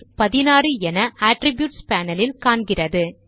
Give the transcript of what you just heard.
16 என attributes panel இல் காண்கிறது